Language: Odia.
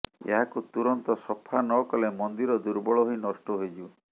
ଏହାକୁ ତୁରନ୍ତ ସଫା ନକଲେ ମନ୍ଦିର ଦୁର୍ବଳ ହୋଇ ନଷ୍ଟ ହୋଇଯିବ